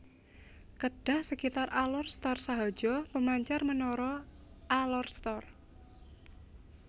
Kedah Sekitar Alor Star Sahaja Pemancar Menara Alor Star